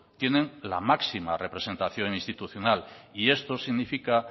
tienen la máxima representación institucional y esto significa